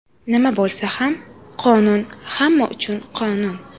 Nima bo‘lsa ham qonun hamma uchun qonun.